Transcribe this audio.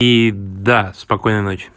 и да спокойной ночи